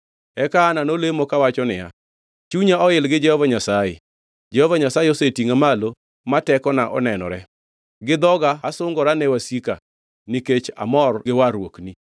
Eka Hana nolemo kawacho niya, “Chunya oil gi Jehova Nyasaye; Jehova Nyasaye osetingʼa malo ma tekona onenore. Gi dhoga asungora ne wasika, nikech amor gi warruokni.